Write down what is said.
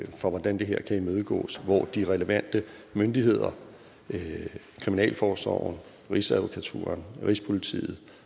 for hvordan det her kan imødegås hvor de relevante myndigheder kriminalforsorgen rigsadvokaturen rigspolitiet